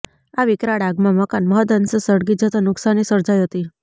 આ વિકરાળ આગમાં મકાન મહદઅંશે સળગી જતા નુકસાની સર્જાઈ હતી